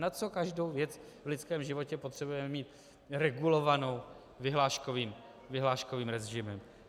Na co každou věc v lidském životě potřebujeme mít regulovanou vyhláškovým režimem?